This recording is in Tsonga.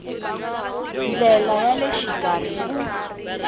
ndlela ya le xikarhi ku